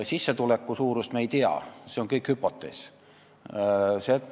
Sissetuleku suurust me ei tea, see on kõik hüpotees.